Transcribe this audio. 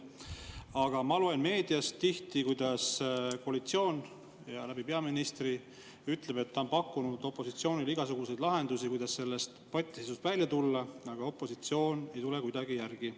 Aga ma loen meediast tihti, kuidas koalitsioon peaministri suu läbi ütleb, et ta on pakkunud opositsioonile igasuguseid lahendusi, kuidas sellest patiseisust välja tulla, aga opositsioon ei tule kuidagi järgi.